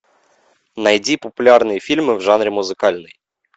найди популярные фильмы в жанре музыкальный